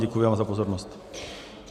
Děkuji vám za pozornost.